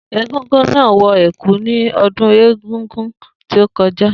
Egúngún náà wọ ẹ̀kú ní ọdún egúngún tí ó kọjá